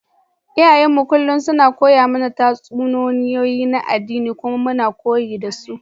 Iyayenmu kullum suna koya mana tatsuniyoyi na addini kuma muna koyi da su.